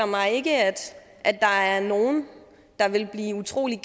mig ikke at at der er nogen der ville blive utrolig